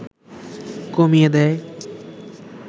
কমিয়ে দেয়